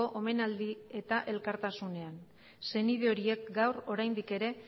omenaldi eta elkartasunean senide horiek gaur oraindik ere